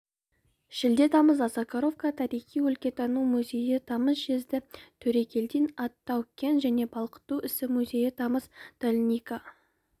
шілде тамыз осакаровка тарихи-өлкетану музейі тамыз жезді төрегелдин ат тау-кен және балқыту ісі музейі тамыз долинка